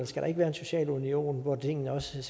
skal være en social union hvor tingene også ser